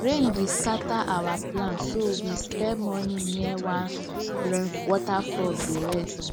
rain be scatter our plans so we spend morning near one rain waterfall dey relax